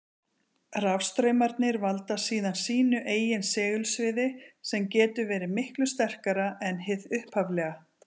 Rafstraumarnir valda síðan sínu eigin segulsviði, sem getur verið miklu sterkara en hið upphaflega.